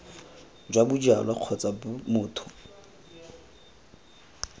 jwa bojalwa kgotsa b motho